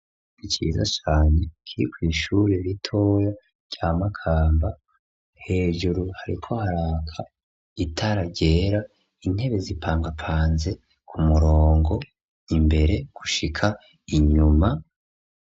Iciza cane kikw'ishure ritoya rya makamba hejuru hariko haraka itara ryera intebe zipangapanze ku murongo imbere gushika inyuma.